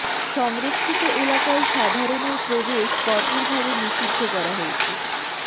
সংরক্ষিত এলাকায় সাধারণের প্রবেশ কঠোর ভাবে নিষিদ্ধ করা হয়েছে